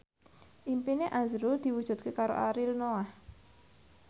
impine azrul diwujudke karo Ariel Noah